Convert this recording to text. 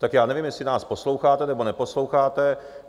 Tak já nevím, jestli nás posloucháte, nebo neposloucháte.